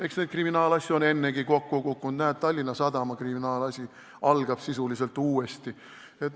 Eks neid kriminaalasju ole ennegi kokku kukkunud, näiteks Tallinna Sadama kriminaalasi algab sisuliselt uuesti.